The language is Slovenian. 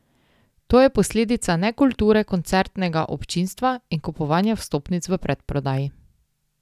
To je posledica nekulture koncertnega občinstva in kupovanja vstopnic v predprodaji.